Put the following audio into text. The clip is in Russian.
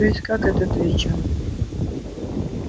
то есть как это при чем